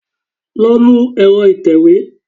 Lọ nu ẹ̀rọ ìtẹ̀wé!